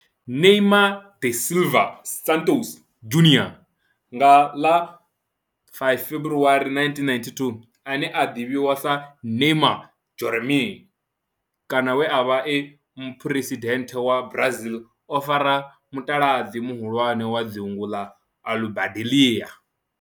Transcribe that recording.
Neymar da Silva Santos Junior, nga ḽa 5 February 1992, ane a ḓivhiwa sa Ne'ymar' Jeromme kana we a vha e muphuresidennde wa Brazil o fara mutaladzi muhulwane wa dzingu ḽa Aludalelia.